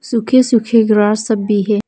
सूखे सूखे ग्रास सब भी है।